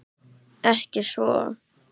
Ekki svo.